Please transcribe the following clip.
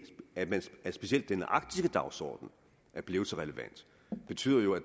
specielt den arktiske dagsorden er blevet så relevant jo betyder at